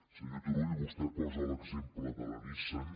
senyor turull vostè posa l’exemple de la nissan